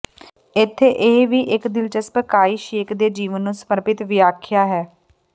ਇੱਥੇ ਇਹ ਵੀ ਇੱਕ ਦਿਲਚਸਪ ਕਾਈ ਸ਼ੇਕ ਦੇ ਜੀਵਨ ਨੂੰ ਸਮਰਪਿਤ ਵਿਆਖਿਆ ਹੈ